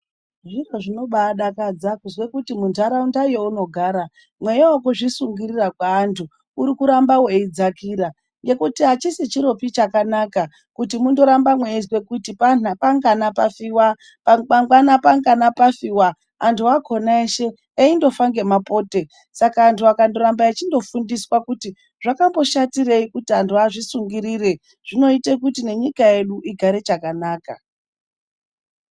Zviro zvinobadakadza kuzwe kuti muntaraunda younogara mweya vekuzvisungirira kweantu urikuramba veidzakira. Ngekuti hachisi chiropi chakanaka kuti mundoramba meizwa kuti panhapangana pafiva mangwana pangana pafiva antu akona eshe eindofa ngemapote. Saka antu akandoramba echindofundiswa kuti zvakamboshatirei kuti antu azvisungirire zvinoita kuti nenyika yedu igare chakanaka.